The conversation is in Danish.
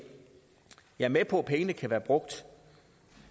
jeg er med på at pengene kan være brugt